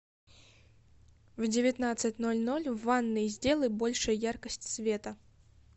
в девятнадцать ноль ноль в ванной сделай больше яркость света